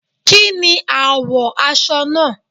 Kí ni àwọ̀ aṣọ náà?